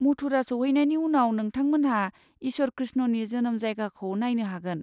मथुरा सौहैनायनि उनाव, नोंथांमोनहा इसोर कृष्णनि जोनोम जायगाखौ नायनो हागोन।